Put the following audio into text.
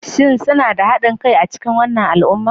Shin suna da haɗin kai a cikin wannan al'umma?